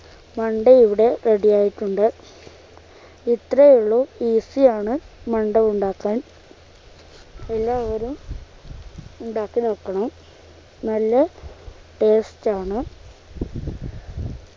മണ്ടയിവിടെ ready ആയിട്ടുണ്ട് ഇത്രേ ഉള്ളു easy യാണ് മണ്ട ഉണ്ടാക്കാൻ എല്ലാവരും ഉണ്ടാക്കി നോക്കണം നല്ല taste ആണ്